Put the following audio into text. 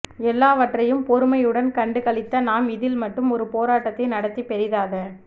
எல்லாவற்றையும் பொறுமையுடன் கண்டுகழித்த நாம் இதில் மட்டும் ஒரு போரட்டத்தை நடத்தி பெரிதாத